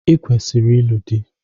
I kwesiri ịlụ di!